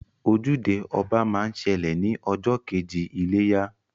Ojúde ọba máa ń ṣẹlẹ̀ ní ọjọ́ kejì iléyá